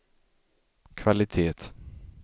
kvalitet